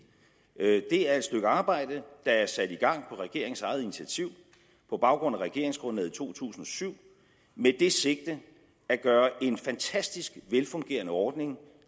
det er et stykke arbejde der er sat i gang på regeringens eget initiativ på baggrund af regeringsgrundlaget i to tusind og syv med det sigte at gøre en fantastisk velfungerende ordning